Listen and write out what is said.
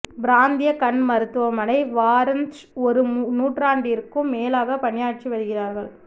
பிராந்திய கண் மருத்துவமனை வாரந்ஸ் ஒரு நூற்றாண்டிற்கும் மேலாக பணியாற்றி வருகிறார்கள்